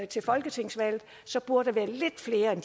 til folketingsvalget så burde